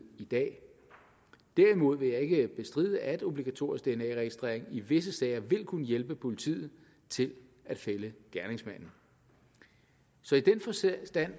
i dag derimod vil jeg ikke bestride at obligatorisk dna registrering i visse sager vil kunne hjælpe politiet til at fælde gerningsmanden så i den forstand